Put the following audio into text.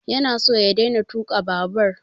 Ya na so ya daina tuƙa babur